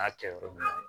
N'a kɛ yɔrɔ min na